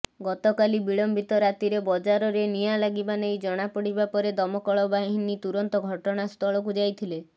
ଗତକାଲି ବିଳମ୍ୱିତ ରାତିରେ ବଜାରରେ ନିଆଁ ଲାଗିବା ନେଇ ଜଣାପଡ଼ିବା ପରେ ଦମକଳ ବାହିନୀ ତୁରନ୍ତ ଘଟଣାସ୍ଥଳକୁ ଯାଇଥିଲେ